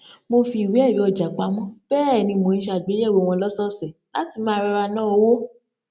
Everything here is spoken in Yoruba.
mo fi ìwé ẹrí ọjà pamọ bẹẹ ni mò n ṣe àgbéyẹwò wọn lọsọọsẹ láti máa rọra ná owó